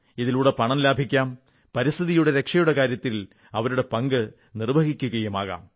ഇതിലൂടെ പണവും ലാഭിക്കാം പരിസ്ഥിതിയുടെ രക്ഷയുടെ കാര്യത്തിൽ അവരുടെ പങ്ക് നിർവ്വഹിക്കുകയുമാകാം